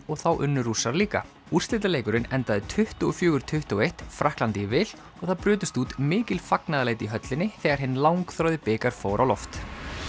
og þá unnu Rússar líka úrslitaleikurinn endaði tuttugu og fjögur til tuttugu og eitt Frakklandi í vil og það brutust út mikil fagnaðarlæti í höllinni þegar hinn langþráði bikar fór á loft